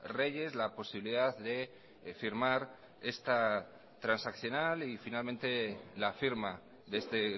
reyes la posibilidad de firmar esta transaccional y finalmente la firma de este